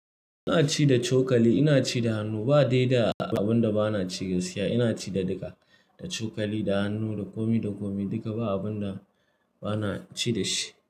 Ina ci da cokali, ina ci da hannu ba dai da abin da bana ci gaskiya. Ina ci da duka, da cokali, da hannu, da komi da komi duka ba abun da bana ci da shi.